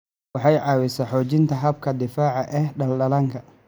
Waxay caawisaa xoojinta habka difaaca ee dhallaanka.